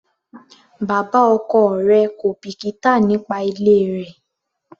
Bàbá ọkọ rẹ̀ kò bìkítà nípa ilé rẹ.